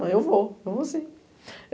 Eu vou, eu vou sim.